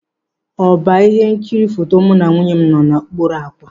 Ọba ihe nkiri foto mụ na nwunye m nọ n'okpuru ákwà.